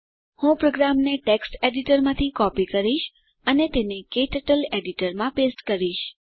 હું પ્રોગ્રામને ટેક્સ્ટ એડીટરમાંથી કોપી કરીશ અને તેને ક્ટર્ટલ એડીટરમાં પેસ્ટ કરીશ